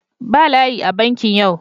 Ba layi a bankin yau.